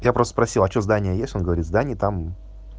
я просто спросила что здание есть он говорит здание там